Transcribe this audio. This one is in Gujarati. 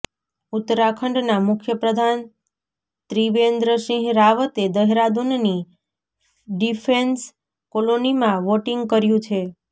ઉત્તરાખંડના મુખ્યપ્રધાન ત્રિવેન્દ્રસિંહ રાવતે દેહરાદૂનની ડિફેન્સ કોલોનીમાં વોટિંગ કર્યું છે